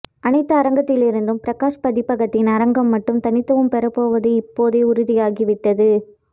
அனைத்து அரங்கத்திலிருந்தும் பிரகாஷ் பதிப்பகத்தின் அரங்கம்மட்டும் தனித்துவம் பெறப்போவது இப்போதே உறுதியாகிவிட்டது